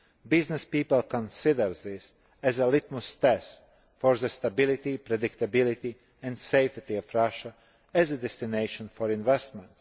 Business people consider this a litmus test for the stability, predictability and safety of Russia as a destination for investment.